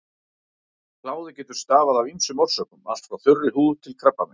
Kláði getur stafað af ýmsum orsökum, allt frá þurri húð til krabbameins.